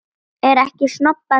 Er ekkert snobbað fyrir þér?